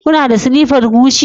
Kuna da slippers Gucci?